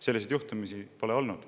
Selliseid juhtumeid pole olnud.